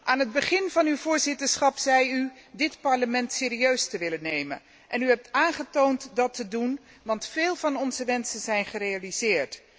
Aan het begin van uw voorzitterschap zei u dit Parlement serieus te willen nemen en u hebt aangetoond dat te doen, want veel van onze wensen zijn gerealiseerd.